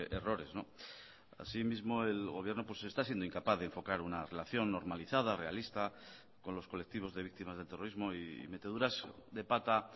errores asimismo el gobierno pues está siendo incapaz de enfocar una relación normalizada realista con los colectivos de víctimas del terrorismo y meteduras de pata